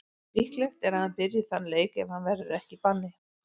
Líklegt er að hann byrji þann leik ef hann verður ekki í banni.